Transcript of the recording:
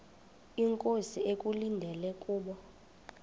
inkosi ekulindele kubo